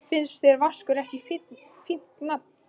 Finnst þér Vaskur ekki fínt nafn?